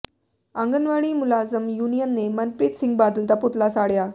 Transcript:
ਆਂਗਣਵਾੜੀ ਮੁਲਾਜ਼ਮ ਯੂਨੀਅਨ ਨੇ ਮਨਪ੍ਰੀਤ ਸਿੰਘ ਬਾਦਲ ਦਾ ਪੁਤਲਾ ਸਾੜਿਆ